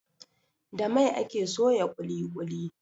Da mai ake soya ƙuli ƙuli